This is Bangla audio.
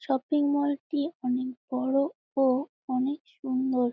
শপিং মল -টি অনেক বড়ো ও অনেক সুন্দর।